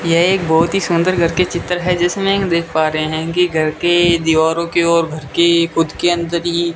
यह एक बहोत ही सुंदर घर के चित्र है जिसमें की देख पा रहे हैं कि घर के दीवारों के और घर के खुद के अंदर ही --